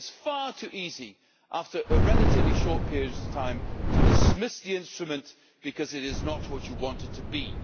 It is far too easy after a relatively short period of time to dismiss the instrument because it is not what one wants it to be.